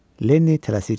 Lenni tələsik çıxdı.